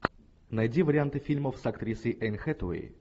найди варианты фильмов с актрисой энн хэтэуэй